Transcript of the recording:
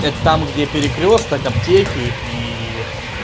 это там где перекрёсток аптеки и